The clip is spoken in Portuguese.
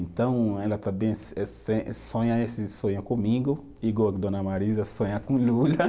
Então, ela também eh se, eh se, sonha esse sonho comigo, igual a dona Marisa sonha com o Lula.